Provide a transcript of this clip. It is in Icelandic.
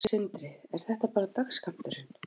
Sindri: Er þetta bara dagsskammturinn?